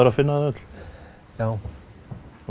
að finna þau öll já